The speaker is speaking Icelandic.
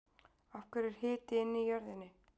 af hverju er hiti inn í jörðinni